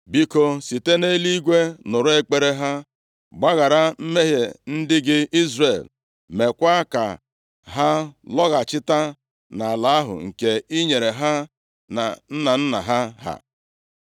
biko, site nʼeluigwe nụrụ ekpere ha, gbaghara mmehie ndị gị Izrel. Meekwa ka ha lọghachita nʼala ahụ nke i nyere ha na nna nna ha.